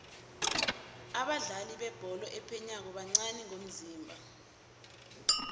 abadlali bebholo ephaywako bancani ngomzimba